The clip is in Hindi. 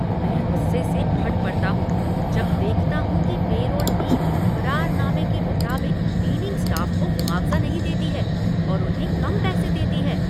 मैं गुस्से से फट पड़ता हूँ जब देखता हूँ कि पैरोल टीम, करारनामे के मुताबिक, क्लीनिंग स्टाफ को मुआवजा नहीं देती है और उन्हें कम पैसे देती है।